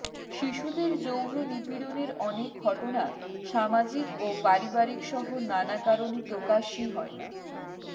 শিশুদের যৌন নিপীড়নের অনেক ঘটনা সামাজিক ও পারিবারিকসহ নানা কারণে প্রকাশই হয় না